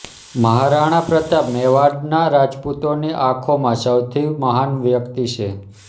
મહારાણા પ્રતાપ મેવાડના રાજપૂતોની આંખોમાં સૌથી મહાન વ્યક્તિ છે